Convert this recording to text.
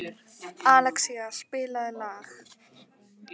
Alexía, spilaðu lag.